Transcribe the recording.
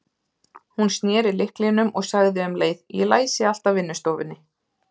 Hún sneri lyklinum og sagði um leið: Ég læsi alltaf vinnustofunni.